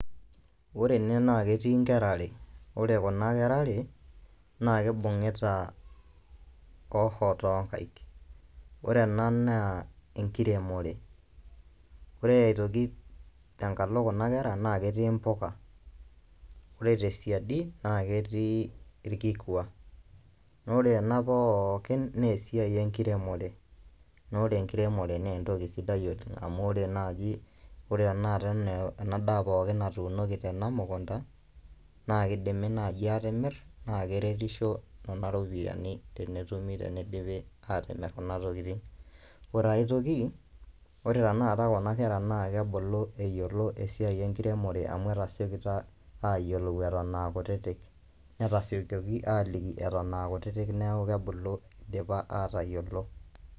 Ore ene naa ketii inkera are, ore kuna kera are naa kibungita hoho too nkaik. Ore ena naa inkeremore, ore aitoki tenkalo kuna kera naa ketii imbuka, ore tesiadi naa ketii ilkikua naa ore ena poookin naa esiai enkiremore naa ore enkiremore naa entoki sidai oleng' amu ore naji ore tanakata enaa enaa natuunoki tena mukunta, naa kidim naaji atiimir naa keretisho nena ropiyiani naaji tenetumi atimir kuna tokitin. Ore aitoki ore tanakata kuna kera naa kebulu eyiolo esiai enkiremore amu etasiokito aayiolou aton kutiti, netasiokoki aaliki aton aa kutiti neeku aidapa aatayiolo.